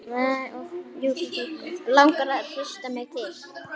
Langar að hrista mig til.